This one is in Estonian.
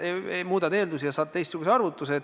Muudad eeldusi, ja saad teistsuguse arvutuse.